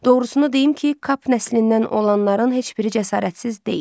Doğrusunu deyim ki, Kap nəslindən olanların heç biri cəsarətsiz deyil.